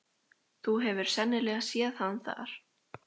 Þú hefur sennilega séð hann þar.